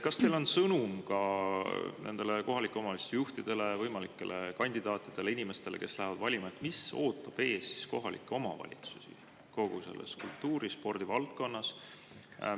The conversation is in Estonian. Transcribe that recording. Kas teil on ka nendele kohalike omavalitsuste juhtidele, võimalikele kandidaatidele ning inimestele, kes lähevad valima, sõnum, et mis ootab ees kohalikke omavalitsusi kogu selles kultuuri‑ ja spordivaldkonnas?